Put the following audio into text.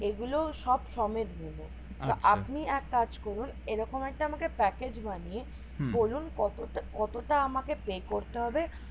এগুলো সব সমেত নিবো আপনি এক কাজ করুন এই রকম একটা আমাকে package বানিয়ে বলুন কতটা কতটা আমাকে pay করতে হবে